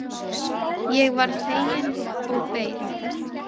Ég varð fegin og beið.